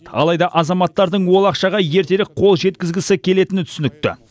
алайда азаматтардың ол ақшаға ертерек қол жеткізгісі келетіні түсінікті